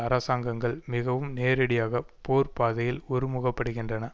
அரசாங்கங்கள் மிகவும் நேரடியாக போர் பாதையில் ஒரு முகப்படுகின்றன